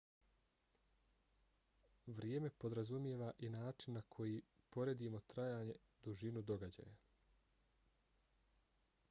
vrijeme podrazumijeva i način na koji poredimo trajanje dužinu događaja